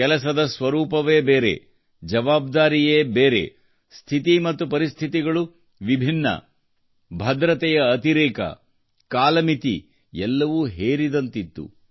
ಕೆಲಸದ ಸ್ವರೂಪವೇ ಬೇರೆ ಜವಾಬ್ದಾರಿಯೇ ಬೇರೆ ಸ್ಥಿತಿ ಮತ್ತು ಪರಿಸ್ಥಿತಿಗಳು ವಿಭಿನ್ನವಾಗಿದ್ದವು ಭದ್ರತೆಯ ಅತಿರೇಕ ಕಾಲಮಿತಿ ಎಲ್ಲವೂ ಹೇರಿದಂತಿತ್ತು